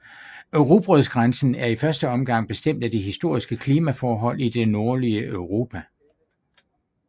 Rugbrødsgrænsen er i første omgang bestemt af de historiske klimaforhold i det nordlige Europa